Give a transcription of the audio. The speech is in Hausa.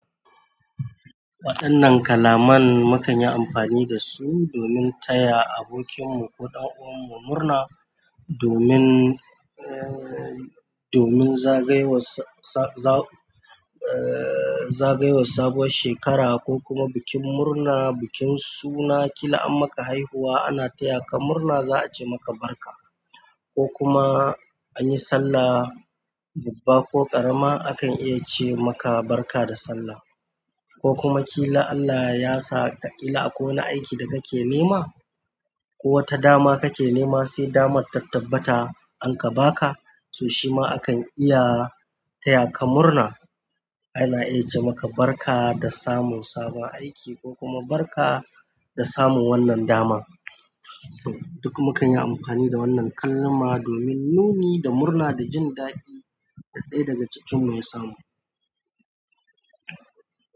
Waɗannan kalaman mu kanyi amfani dasu domin taya abokin mu ko dan'uwanmu murna domin domin zagayowar sa, eh, zagayowar sabuwar shekara ko kuma bikin murna, bikin suna, ƙila an maka haihuwa ana taya ka murna za'a ce maka barka. Ko kuma anyi sallah, babba ko ƙarama akan iya ce maka barka da sallah. Ko kuma ƙila Allah yasa ka ƙila akwai wani aiki da kake nema ko wata dama kake nema sai damar ta tabbata an ka baka, to shima akan iya taya ka murna. Ana iya ce maka barka da samun sabon aiki ko kuma barka da samun wannan dama. Duk mukanyi amfani da wannan kalma domin nuni da murna da jin daɗin da ɗaya daga cikinmu ya samu.